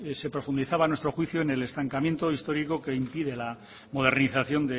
se profundizaba a nuestro juicio en el estancamiento histórico que impide la modernización